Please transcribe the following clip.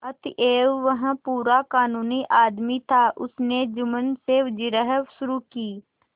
अतएव वह पूरा कानूनी आदमी था उसने जुम्मन से जिरह शुरू की